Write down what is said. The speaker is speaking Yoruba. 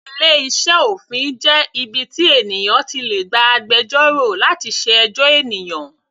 Ilé iṣẹ́ òfin jẹ́ ibi tí ènìyàn ti lè gba agbẹjọ́rò láti ṣe ẹjọ́ ènìyàn.